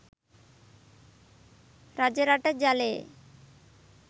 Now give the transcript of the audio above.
රජරට ජලයේ